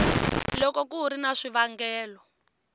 loko ku ri na swivangelo